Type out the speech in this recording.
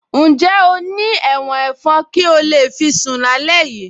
Ǹjẹ́ o ní ẹ̀wọ̀n ẹ̀fọn kí o lè fi sún alẹ́ yìí